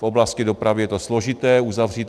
V oblasti dopravy je to složité uzavřít.